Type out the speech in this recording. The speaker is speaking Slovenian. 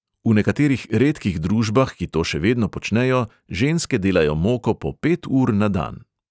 V nekaterih redkih družbah, ki to še vedno počnejo, ženske delajo moko po pet ur na dan.